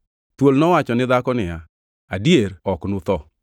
Thuol nowacho ne dhako niya, “Adier ok unutho.